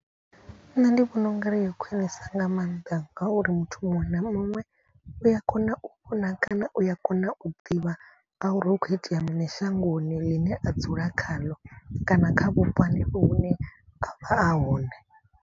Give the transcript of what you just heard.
Nṋe ndi vhona ungari yo khwinisa nga maanḓa ngauri muthu muṅwe na muṅwe u ya kona u vhona kana u ya kona u ḓivha. Ngauri hu khou itea muṋe shangoni ḽine a dzula khaḽo kana kha vhupo hanefho hune avha a hone.